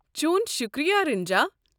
چون شُکریہ، رنجا۔